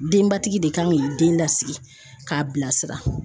Denbatigi de kan k'i den lasigi k'a bilasira.